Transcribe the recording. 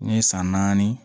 N ye san naani